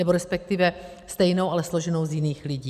Nebo respektive stejnou, ale složenou z jiných lidí.